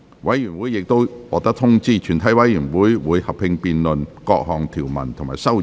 委員已獲得通知，全體委員會會合併辯論各項條文及修正案。